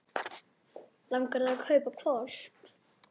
Langar þig að kaupa hvolp?